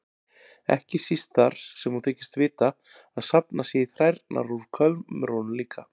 Ekki síst þar sem hún þykist vita að safnað sé í þrærnar úr kömrunum líka.